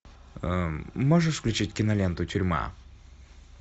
можешь включить киноленту тюрьма